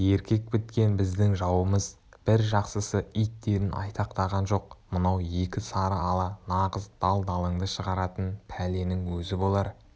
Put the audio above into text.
еркек біткен біздің жауымыз бір жақсысы иттерін айтақтаған жоқ мынау екі сары ала нағыз дал-далыңды шығаратын пәленің өзі болар